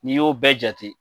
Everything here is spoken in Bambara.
N'i y'o bɛɛ jate.